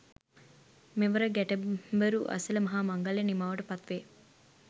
මෙවර ගැටබරු ඇසළ මහා මංගල්‍යය නිමාවට පත්වේ